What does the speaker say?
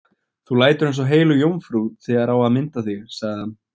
Þú lætur eins og heilög jómfrú þegar á að mynda þig, sagði hann.